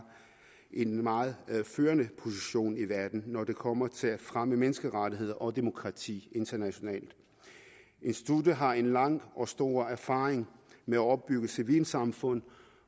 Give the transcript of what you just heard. en meget førende position i verden når det kommer til at fremme menneskerettigheder og demokrati internationalt instituttet har en lang og stor erfaring med at opbygge civilsamfund